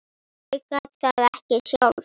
Ég gat það ekki sjálf.